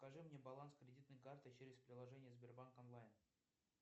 покажи мне баланс кредитной карты через приложение сбербанк онлайн